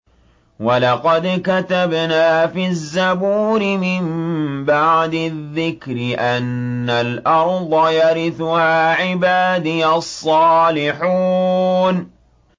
وَلَقَدْ كَتَبْنَا فِي الزَّبُورِ مِن بَعْدِ الذِّكْرِ أَنَّ الْأَرْضَ يَرِثُهَا عِبَادِيَ الصَّالِحُونَ